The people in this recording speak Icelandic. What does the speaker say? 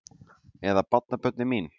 Eða barnabörnin mín?